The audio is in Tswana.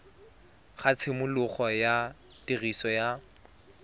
ga tshimologo ya tiriso ya